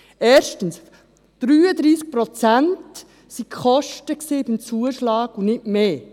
Erstens: 33 Prozent betrugen die Kosten beim Zuschlag und nicht mehr.